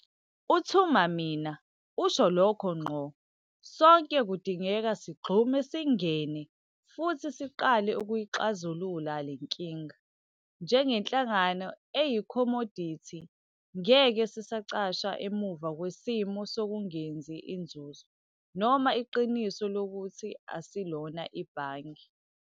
'UThuma mina' usho lokho ngqo- Sonke kudingeka sigxume singene futhi siqale ukuyixazulula le nkinga. Njengenhlangano eyikhomodithi, ngeke sisacasha emuva kwesimo sokungenzi inzuzo noma iqiniso lokuthi asilona ibhange.